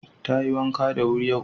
Tayi wanka da wuri yau.